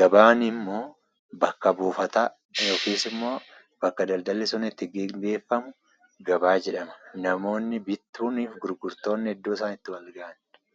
Gabaanimmoo bakka buufata yookisimmoo bakka daldalli sun itti gaggeefamu gabaa jedhama. Namoonni bittuuniifi gurgurtoonni iddoo isaan itti wal gahanidha.